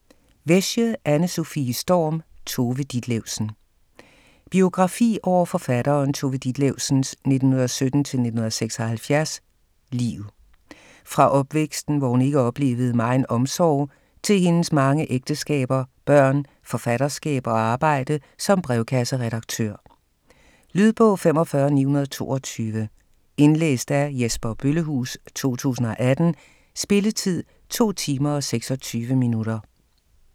Wesche, Anne-Sofie Storm: Tove Ditlevsen Biografi over forfatteren Tove Ditlevsens (1917-1976) liv. Fra opvæksten, hvor hun ikke oplevede megen omsorg til hendes mange ægteskaber, børn, forfatterskab og arbejde som brevkasseredaktør. Lydbog 45922 Indlæst af Jesper Bøllehuus, 2018. Spilletid: 2 timer, 26 minutter.